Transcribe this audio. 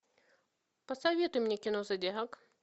посоветуй мне кино зодиак